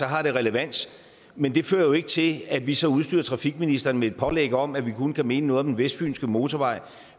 har det relevans men det fører jo ikke til at vi så udstyrer trafikministeren med et pålæg om at vi kun kan mene noget om den vestfynske motorvej